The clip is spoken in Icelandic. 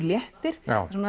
léttir